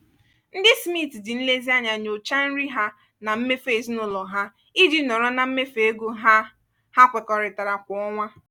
ndị smith ji nlezianya nyochaa nri ha na mmefu ezinụlọ ha iji nọrọ na mmefu ego ha ha kwekọrịtara kwa ọnwa.